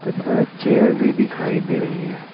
तथा चेयर भी दिखाई दे रहे हैं।